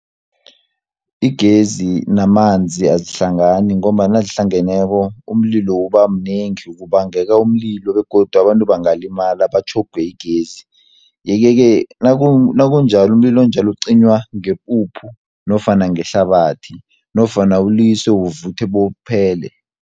Igezi namanzi azihlangani, ngombana nazihlangeneko umlilo ubamnengi, kubangeka umlilo, begodu abantu bangalimala batjhogwe yigezi. Yeke-ke umlilo onjalo ucinywa ngepuphu nofana ngehlabathi, nofana uliswe uvuthe bewuphele.